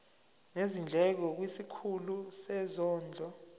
nezindleko kwisikhulu sezondlo